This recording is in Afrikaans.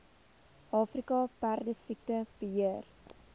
afrika perdesiekte beheer